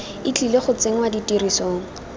e tlile go tsenngwa tirisong